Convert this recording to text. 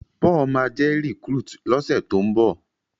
Paul má jé recruit lo ṣe to'n nbọ